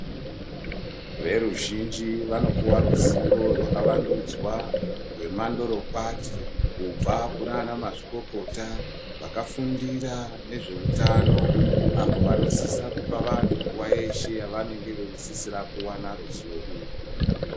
Veruzhinji vanopuwa ruzivo hwakavandudzwa hwemandorokwati kubva kunana mazvikokota vakafundira nezveutano apo vanosisa kupa vantu nguva yeshe yavanenge veisisira kuwana ruzivo urwu.